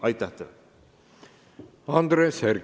Andres Herkel, palun!